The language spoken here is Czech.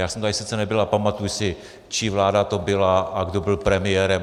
Já jsem tady sice nebyl, ale pamatuji si, čí vláda to byla a kdo byl premiérem.